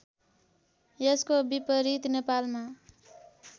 यसको विपरीत नेपालमा